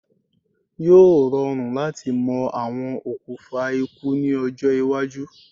Yóò rọrùn láti mọ àwọn okùfà ikú ní ọjọ́-iwájú.